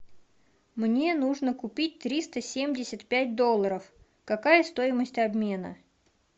мне нужно купить триста семьдесят пять долларов какая стоимость обмена